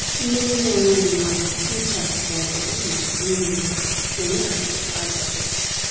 Mmiri na-enweghị mmanụ, ncha, ma ọ bụ uzuzu n'ime ya, na-eme ka nchekwa azụ dị.